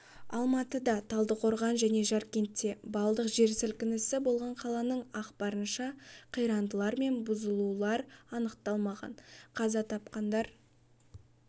алматыда талдықорған және жаркентте балдық жер сілкінісі болған қаланың ақпарынша қирандылар мен бұзылулар анықталмаған қаза тапқандар